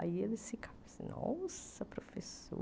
Aí eles ficavam assim, nossa, professora...